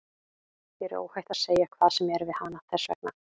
Þér er óhætt að segja hvað sem er við hana, þess vegna.